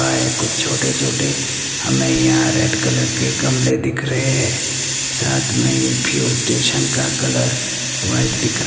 और ये कुछ छोटे छोटे हमें यहां रेड कलर के गमले दिख रहे हैं साथ में ही फ्यूल स्टेशन का कलर वाइट दिख रहा--